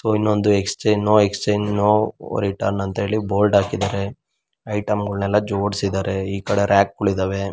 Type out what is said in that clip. ಇನ್ನೊಂದು exchange no exchange no return ಅಂತ ಹೇಳಿ ಬೋರ್ಡ್ ಹಾಕಿದಾರೆ. ಐಟೆಮ್ಗಳೆಲ್ಲ ಜೋಡಿಸಿದಾರೆ ಈ ಕಡೆ ರಾಕುಗಳು ಇದಾವೆ.